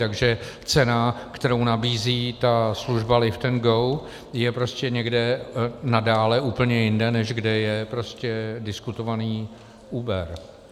Takže cena, kterou nabízí ta služba Liftago, je prostě někde nadále úplně jinde, než kde je prostě diskutovaný Uber.